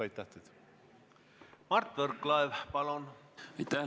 Aitäh!